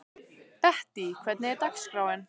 Bettý, hvernig er dagskráin?